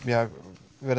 verið